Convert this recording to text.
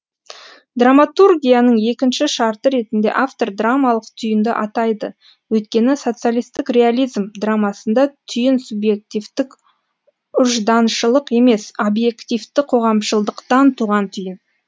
драматургияның екінші шарты ретінде автор драмалық түйінді атайды өйткені социалистік реализм драмасында түйін субъективтік ұжданшылдық емес объективті қоғамшылдықтан туған түйін